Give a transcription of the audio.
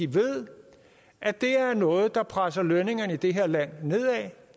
ved at det er noget der presser lønningerne i det her land nedad